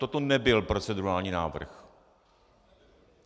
Toto nebyl procedurální návrh.